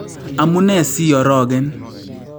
Amunee siiarogen?